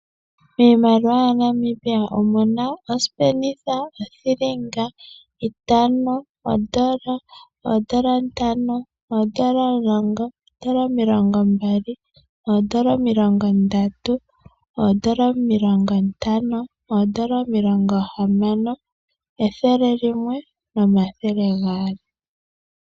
Miimaliwa ya Namibia omuna : osipenitha, othilinga, itano, ondola, oondola ntano, oondola omulongo, oondola omilongombali, oondola omilongondatu , oondola omilongontano, oondola omilongohamano, ethele limwe nomathele gaali